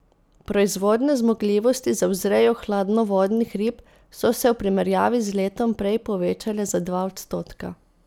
Proizvodne zmogljivosti za vzrejo hladnovodnih rib so se v primerjavi z letom prej povečale za dva odstotka.